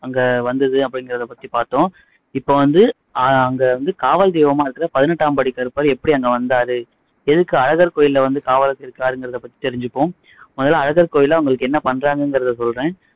அங்க வந்துது அப்படிங்குறதை பத்தி பாத்தோம் இப்போ வந்து ஆஹ் அங்க வந்து காவல் தெய்வமா இருக்க பதினெட்டாம் படி கருப்பர் எப்படி அங்க வந்தாரு எதுக்கு அழகர் கோயில்ல வந்து காவலுக்கு இருக்காருங்குறதை பத்தி தெரிஞ்சுப்போம் முதல்ல அழகர் கோயில்ல அவங்களுக்கு என்ன பண்றாங்கங்குறதை சொல்றேன்